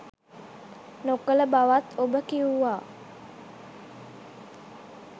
නොකළ බවත් ඔබ කිව්වා.